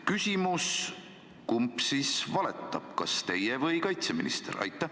Küsimus: kumb siis valetab, kas teie või kaitseminister?